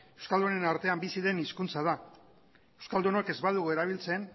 euskaldunen artean bizi den hizkuntza da euskaldunok ez badugu erabiltzen